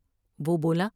وہ بولا ۔